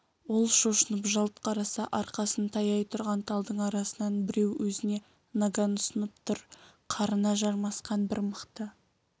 ол шошынып жалт қараса арқасын таяй тұрған талдың арасынан біреу өзіне наган ұсынып тұр қарына жармасқан бір мықты